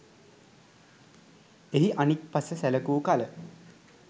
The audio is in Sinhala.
එහි අනික් පස සැලකූ කල